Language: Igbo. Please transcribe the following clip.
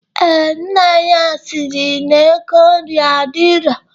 Ee, nna ya siri na ego nri adirọ.